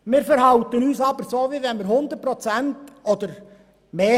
Wir verhalten uns aber so, als hätten wir 100 Prozent oder mehr.